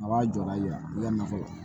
A b'a jɔ la yan u ka nakɔ